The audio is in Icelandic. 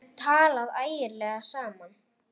Kobbi henti steini í dyrnar.